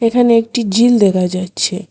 এখানে একটি ঝিল দেখা যাচ্ছে।